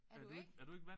Er du ikke?